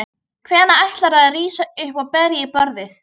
Hvenær ætlarðu að rísa upp og berja í borðið?